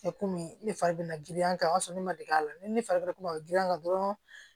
komi ne fari be girin a kan o y'a sɔrɔ ne ma dege a la ni ne fari ko ma girin ka dɔrɔn